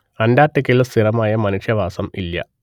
അന്റാർട്ടിക്കയിൽ സ്ഥിരമായ മനുഷ്യവാസം ഇല്ല